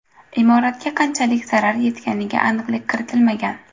Imoratga qanchalik zarar yetganiga aniqlik kiritilmagan.